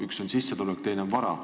Üks asi on sissetulek, teine asi on vara.